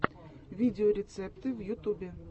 видеорецепты в ютубе